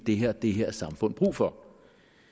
har det her samfund brug for